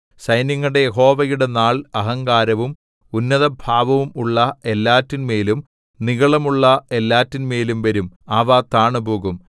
സൈന്യങ്ങളുടെ യഹോവയുടെ നാൾ അഹങ്കാരവും ഉന്നതഭാവവും ഉള്ള എല്ലാറ്റിന്മേലും നിഗളമുള്ള എല്ലാറ്റിന്മേലും വരും അവ താണുപോകും